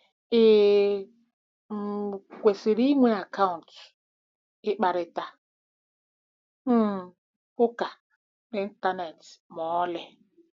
Ị um kwesịrị ịnwe akaụntụ ịkparịta um ụka n'Ịntanet ma ọlị?